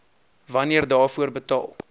wanneer daarvoor betaal